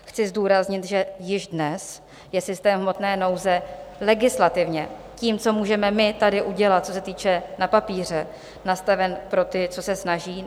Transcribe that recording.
Chci zdůraznit, že již dnes je systém hmotné nouze legislativně tím, co můžeme my tady udělat, co se týče na papíře, nastaven pro ty, co se snaží.